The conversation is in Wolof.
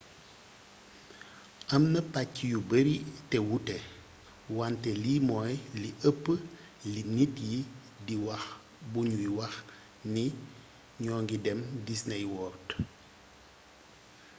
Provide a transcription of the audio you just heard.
am na pàcc yu bari te wuute wante lii moy li ëp li nit yi di wax bu ñuy wax ni ño ngi dem disney world